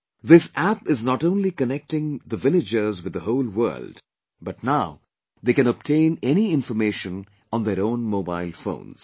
This App is not only connecting the villagers with the whole world but now they can obtain any information on their own mobile phones